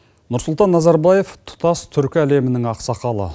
нұрсұлтан назарбаев тұтас түркі әлемінің ақсақалы